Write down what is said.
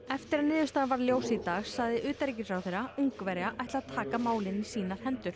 eftir að niðurstaðan varð ljós í dag sagðist utanríkisráðherra Ungverja ætla að taka málin í sínar hendur